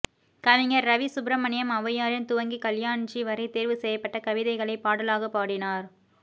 கவிஞர் ரவி சுப்ரமணியம் ஔவையாரில் துவங்கி கல்யாண்ஜி வரை தேர்வு செய்யப்பட்ட கவிதைகளைப் பாடலாகப் பாடினார்